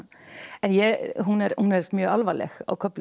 en hún er mjög alvarleg á köflum